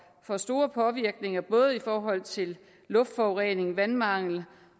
for store påvirkninger både i forhold til luftforurening vandmangel